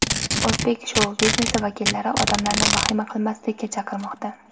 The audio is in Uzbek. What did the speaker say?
O‘zbek shou-biznesi vakillari odamlarni vahima qilmaslikka chaqirmoqda.